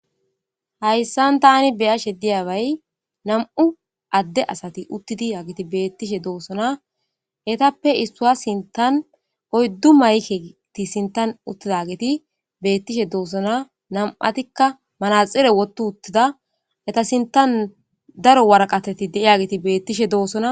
Hayisan tani be'ashe diyaba na'mu ade asati utidi etape issaw sinithan oyidu mayike sinithan dizagi betishe dosona na'ati manaxire wothi utida ehta sinithan daro wariqateti de'ay getii betishe dosona